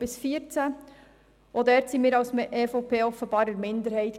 Auch dort waren wir als EVP-Fraktion damals offenbar in der Minderheit.